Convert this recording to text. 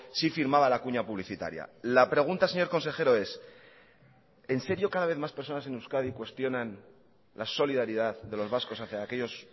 sí firmaba la cuña publicitaria la pregunta señor consejero es en serio cada vez más personas en euskadi cuestionan la solidaridad de los vascos hacía aquellos